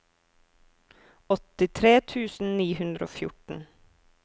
åttitre tusen ni hundre og fjorten